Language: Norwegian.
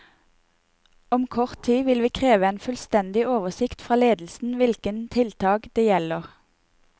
Om kort tid vil vi kreve en fullstendig oversikt fra ledelsen hvilke tiltak det gjelder.